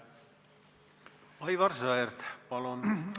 Aivar Sõerd, palun!